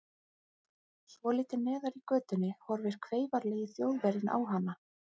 Svolítið neðar í götunni horfir kveifarlegi Þjóðverjinn á hana.